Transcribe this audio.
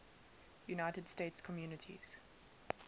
united states communities